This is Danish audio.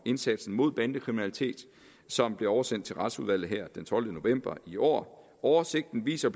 indsatsen mod bandekriminalitet som blev oversendt til retsudvalget her den tolvte november i år oversigten viser